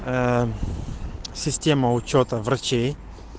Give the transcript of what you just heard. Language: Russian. ээ система учёта врачей